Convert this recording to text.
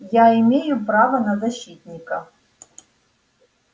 я имею право на защитника